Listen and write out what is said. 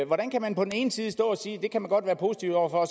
hvordan kan man på den ene side stå og sige at det kan man godt være positive over for